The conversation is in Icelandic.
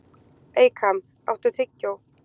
Eykam, áttu tyggjó?